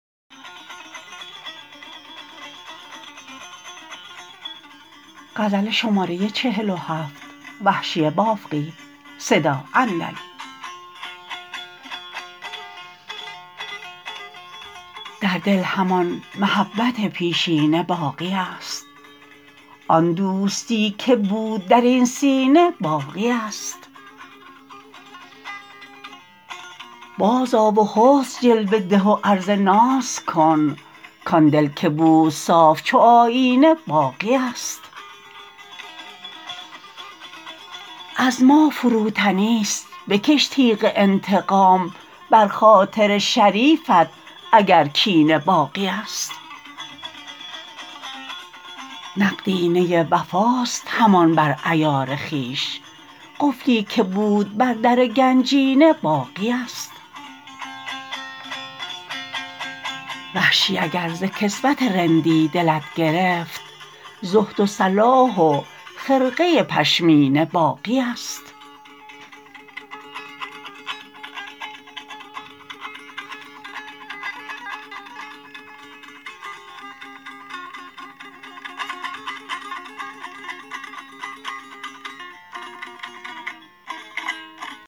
در دل همان محبت پیشینه باقی است آن دوستی که بود در این سینه باقی است باز آ و حسن جلوه ده و عرض ناز کن کان دل که بود صاف چو آیینه باقی است از ما فروتنی ست بکش تیغ انتقام بر خاطر شریفت اگر کینه باقی است نقدینه وفاست همان بر عیار خویش قفلی که بود بر در گنجینه باقی است وحشی اگر ز کسوت رندی دلت گرفت زهد و صلاح و خرقه پشمینه باقی است